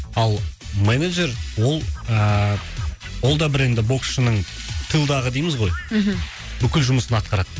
ал менеджер ол ыыы ол да бір енді боксшының тылдағы дейміз ғой мхм бүкіл жұмысын атқарады